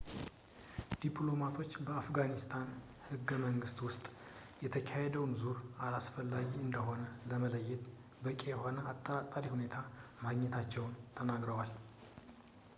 ዲፕሎማቶች በአፍጋኒስታን ህገ-መንግስት ውስጥ ፣ የተካሄደውን ዙር አላስፈላጊ እንደሆነ ለመለየት በቂ የሆነ አጠራጣሪ ሁኔታ ማግኘታቸውን ተናግረዋል